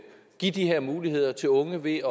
give de her muligheder til unge ved